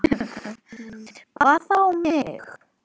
Hvað þá mig.